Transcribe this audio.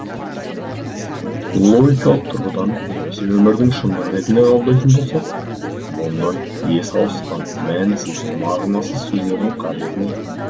логикалық тұрғыдан немесе өмірдің шындығы ретінде қабылдайтын болсақ мұндай есі ауысқан мәнсіз мағынасыз сөздердің қажеті не